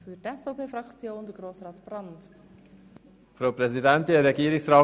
Sie haben es bereits von Barbara Mühlheim gehört: